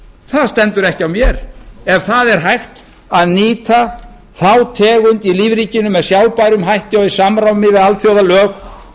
það stendur ekki á mér ef það er hægt að nýta þá tegund í lífríkinu með sjálfbærum hætti og í samræmi við alþjóðalög